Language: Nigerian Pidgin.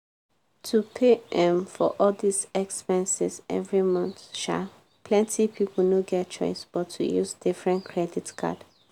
to pay um for all dis expenses every month um plenti pipo no get chioce but to use different credit card.